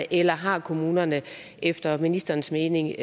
eller har kommunerne efter ministerens mening